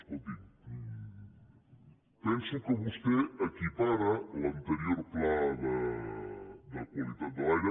escolti’m penso que vostè equipara l’anterior pla de qualitat de l’aire